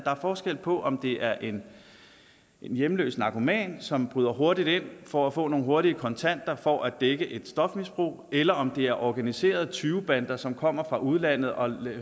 er forskel på om det er en hjemløs narkoman som bryder hurtigt ind for at få nogle hurtige kontanter for at dække et stofmisbrug eller om det er organiserede tyvebander som kommer fra udlandet og